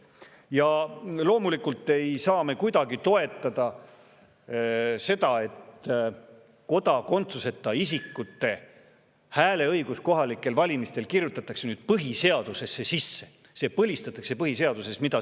Ja loomulikult ei saa me kuidagi toetada seda, et kodakondsuseta isikute hääleõigus kohalikel valimistel kirjutatakse nüüd põhiseadusesse sisse – see põlistatakse põhiseaduses.